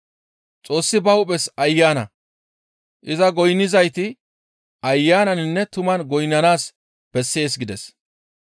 Xoossi ba hu7es Ayana; iza goynnizayti ayananinne tuman goynnanaas bessees» gides.